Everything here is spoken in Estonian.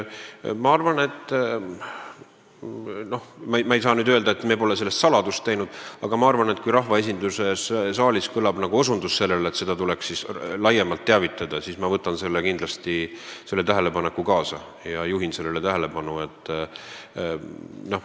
Ma ei saa öelda, et me oleksime sellest mingit saladust teinud, aga ma arvan, et kui rahvaesinduse saalis kõlab mingi osundus, et sellest tuleks laiemalt teavitada, siis ma võtan kindlasti selle tähelepaneku kaasa ja juhin sellele tähelepanu.